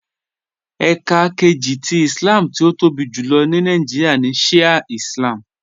Ẹká kẹjì tì Ìslám tí ó tóbi júlọ̀ ní Nàìjíríà ní Shià Ìslám